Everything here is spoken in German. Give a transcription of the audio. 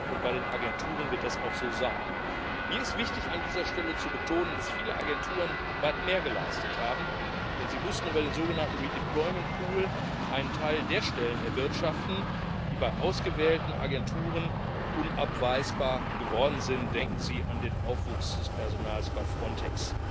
und bei den Agenturen wird das auch so sein. Mir ist es wichtig, an dieser Stelle zu betonen, dass viele Agenturen weit mehr geleistet haben, denn sie mussten über den sogenannten redeployment pool einen Teil der Stellen erwirtschaften, die bei ausgewählten Agenturen unabweisbar geworden sind denken Sie an den Aufwuchs des Personals bei Frontex.